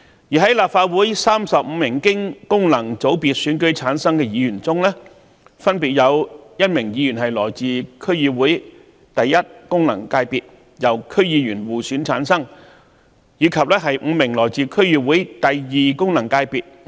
在立法會35名經功能界別選舉產生的議員中，分別有1名議員來自區議會功能界別，由區議員互選產生，以及5名議員來自區議會功能界別。